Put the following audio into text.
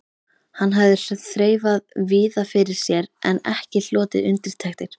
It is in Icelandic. Hann hafði þreifað víða fyrir sér en ekki hlotið undirtektir.